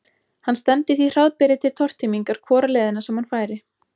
Hann stefndi því hraðbyri til tortímingar hvora leiðina sem hann færi.